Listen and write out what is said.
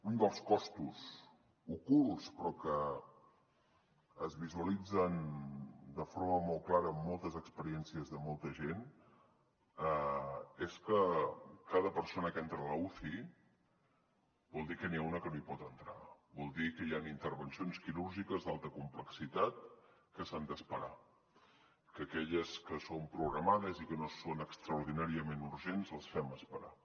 un dels costos ocults però que es visualitzen de forma molt clara amb moltes experiències de molta gent és que cada persona que entra a l’uci vol dir que n’hi ha una que no hi pot entrar vol dir que hi han intervencions quirúrgiques d’alta complexitat que s’han d’esperar que aquelles que són programades i que no són extraordinàriament urgents les fem esperar